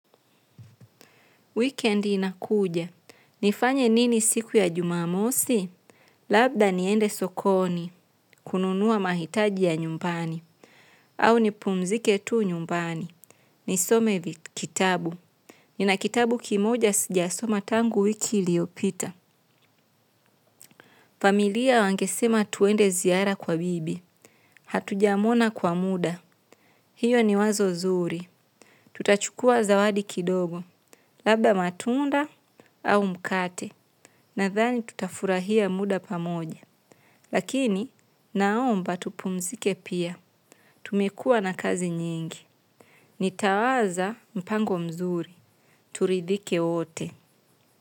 Wikendi inakuja. Nifanye nini siku ya jumamosi? Labda niende sokoni. Kununua mahitaji ya nyumbani. Au nipumzike tu nyumbani. Nisome kitabu. Nina kitabu kimoja sijasoma tangu wiki iliyopita. Familia wangesema tuende ziara kwa bibi hatujamuona kwa muda. Hiyo ni wazo zuri. Tutachukua zawadi kidogo. Labda matunda au mkate. Nathani tutafurahia muda pamoja. Lakini naomba tupumzike pia. Tumekuwa na kazi nyingi. Nitawaza mpango mzuri. Turidhike wote.